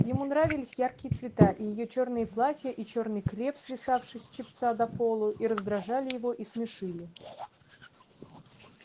ему нравились яркие цвета и её чёрные платья и чёрный креп свисавший с чепца до полу и раздражали его и смешили